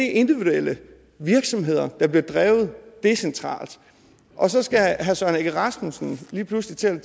er individuelle virksomheder der bliver drevet decentralt og så skal herre søren egge rasmussen lige pludselig til at